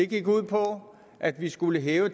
gik ud på at vi skulle hæve